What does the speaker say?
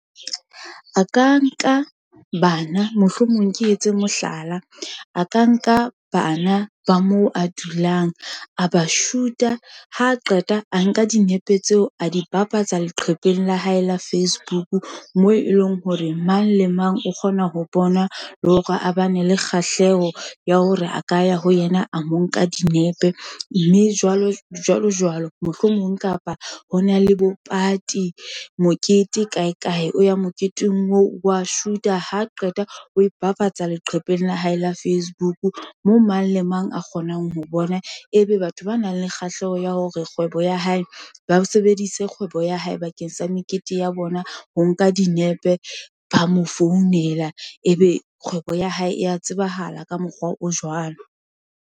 A ka nka bana mohlomong ke etse mohlala, a ka nka bana ba moo a dulang a ba shuta, ha qeta a nka dinepe tseo, a di bapatsa leqhepeng la hae la Facebook, moo e leng hore mang le mang o kgona ho bona, le hore a ba ne le kgahleho, ya hore a ka ya ho yena a mo nka dinepe. Mme jwalo jwalo mohlomong kapa ho na le bo party, mokete kae kae, o ya moketeng oo wa shoot-a, ha qeta o fafatsa leqhepeng la hae la Facebook, moo mang le mang a kgonang ho bona. Ebe batho ba nang le kgahleho ya hore kgwebo ya hae, ba sebedise kgwebo ya hae bakeng sa mekete ya bona. Ho nka dinepe, ba mo founela, ebe kgwebo ya hae ya tsebahala ka mokgwa o jwalo.